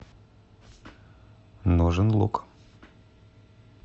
нужен лук